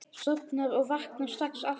Sofna og vakna strax aftur.